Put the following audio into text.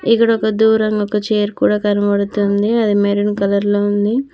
ఇక్కడ ఒక దూరంగా ఒక చైర్ కూడా కనబడుతుంది అది మెరున్ కలర్ లో ఉంది.